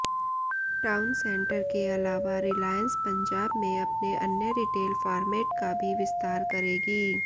town centre के अलावा रिलायंस पंजाब में अपने अन्य रिटेल फार्मेट का भी विस्तार करेगी